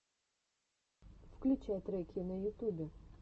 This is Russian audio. включай треки на ютубе